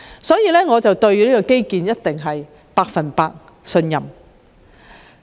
所以，我對中國的基建實力肯定是百分百信任。